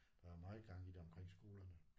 Der er meget gang i det omkring skolerne